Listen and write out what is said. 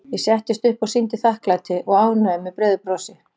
Ég settist upp og sýndi þakklæti og ánægju með breiðu brosi.